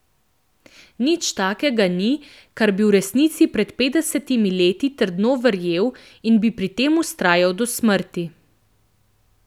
Nič takega ni, v kar bi pred petdesetimi leti trdno verjel in bi pri tem vztrajal do smrti.